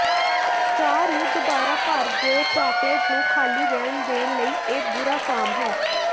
ਚਾਹ ਨੂੰ ਦੁਬਾਰਾ ਭਰ ਦਿਓ ਚਾਕਲੇਟ ਨੂੰ ਖਾਲੀ ਰਹਿਣ ਦੇਣ ਲਈ ਇਹ ਬੁਰਾ ਫਾਰਮ ਹੈ